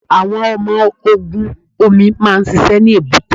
Àwọn ọmọ ogun omi máa ń ṣiṣẹ́ ní èbúté.